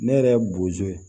Ne yɛrɛ ye bozo ye